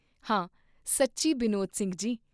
ਹਾਂ ਸੱਚੀ ਬਿਨੋਦ ਸਿੰਘ ਜੀ!